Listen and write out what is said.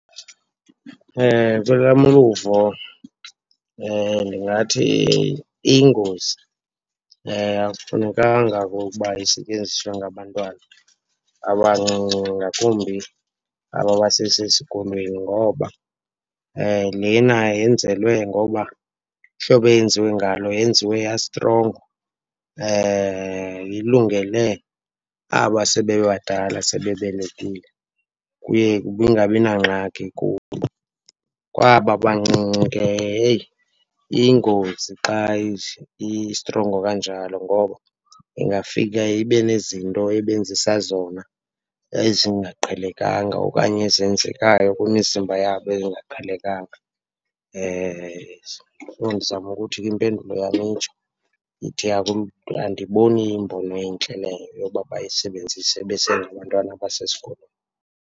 Kwelam uluvo ndingathi iyingozi akufunekanga okokuba isetyenziswe ngabantwana abancinci ngakumbi abo basesesikolweni ngoba lena yenzelwe ngokuba ihlobo eyenziwe ngalo yenziwe yastrongo. Ilungele aba sebebadala, sebebelekile, kuye kungabi nangxaki kubo. Kwaba bancinci ke, heyi, iyingozi xa istrongo kanjalo ngoba ingafika ibe nezinto ebenzisa zona ezingaqhelekanga okanye ezenzekayo kwimizimba yabo ezingaqhelekanga. So, ndizama ukuthi ke impendulo yam itsho, ndithi andiyiboni iyimbono entle leyo yokuba bayisebenzise besengabantwana abasesikolweni.